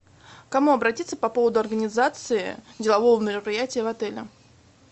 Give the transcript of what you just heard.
к кому обратиться по поводу организации делового мероприятия в отеле